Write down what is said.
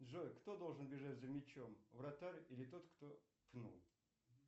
джой кто должен бежать за мячом вратарь или тот кто пнул